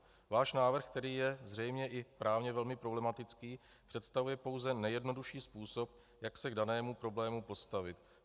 Váš návrh, který je zřejmě i právně velmi problematický, představuje pouze nejjednodušší způsob, jak se k danému problému postavit.